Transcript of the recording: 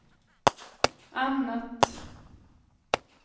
annat